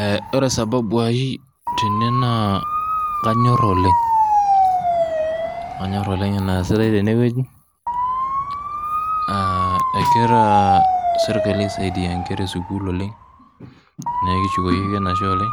Eh ore sababu ai tene naa kanyorr oleng, kanyorr oleng eneesitae tenewueji uh ekira sirkali aisaidia inkera esukul oleng nekishukoki ake enashe oleng